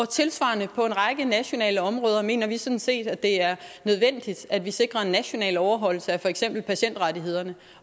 tilsvarende på en række nationale områder mener vi sådan set at det er nødvendigt at vi sikrer en national overholdelse af for eksempel patientrettighederne